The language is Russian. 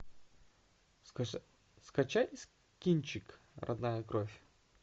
скачай кинчек родная кровь